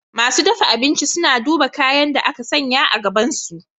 Masu dafa abinci suna duba kayan da aka sanya a gabansu.